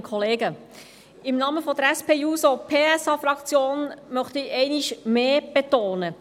Im Namen der SP-JUSO-PSA-Fraktion möchte ich einmal mehr betonen: